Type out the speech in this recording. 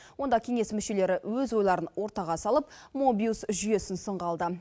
онда кеңес мүшелері өз ойларын ортаға салып мобиус жүйесін сынға алды